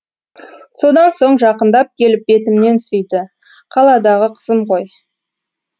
содан соң жақындап келіп бетімнен сүйді қаладағы қызым ғой